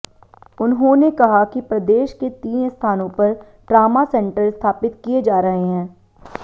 उन्हांेने कहा कि प्रदेश के तीन स्थानों पर ट्रामा सेंटर स्थापित किए जा रहे हैं